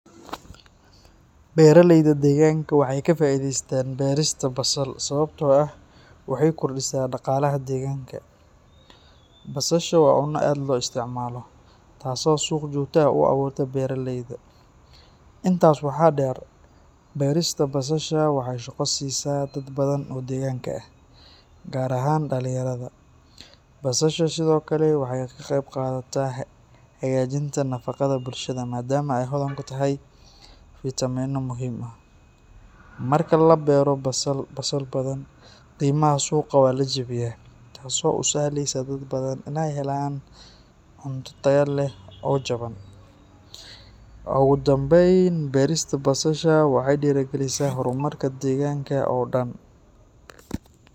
Beeraleyda deegaanka waxay ka faa'iidaystaan beerista basal sababtoo ah waxay kordhisaa dhaqaalaha deegaanka. Basasha waa cunno aad loo isticmaalo, taasoo suuq joogto ah u abuurta beeraleyda. Intaas waxaa dheer, beerista basasha waxay shaqo siisaa dad badan oo deegaanka ah, gaar ahaan dhalinyarada. Basasha sidoo kale waxay ka qayb qaadataa hagaajinta nafaqada bulshada maadaama ay hodan ku tahay fiitamiinno muhiim ah. Marka la beero basal badan, qiimaha suuqa waa la jabiyaa, taasoo u sahleysa dad badan inay helaan cunto tayo leh oo jaban. Ugu dambeyn, beerista basasha waxay dhiirrigelisaa horumarka deegaanka oo dhan.